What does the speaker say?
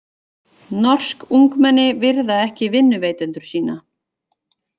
Norsk ungmenni virða ekki vinnuveitendur sína